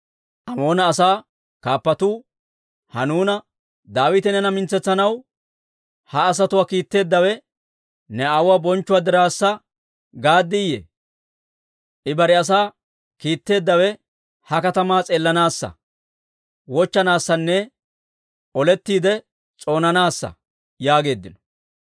Amoona asaa kaappatuu Hanuuna, «Daawite neena mintsetsanaw ha asatuwaa kiitteeddawe ne aawuwaa bonchchuwaa diraassa gaaddiyye? I bare asaa kiitteeddawe ha katamaa s'eellanaassa, wochchanaassanne olettiide s'oonanaassa» yaageeddino.